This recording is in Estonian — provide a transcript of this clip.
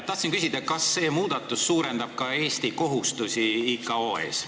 Tahtsin küsida, kas see muudatus suurendab ka Eesti kohustusi ICAO ees.